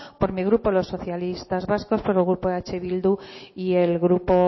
por mi grupo los socialistas vascos por el grupo eh bildu y el grupo